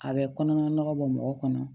A bɛ kɔnɔna nɔgɔ bɔ mɔgɔ kɔnɔ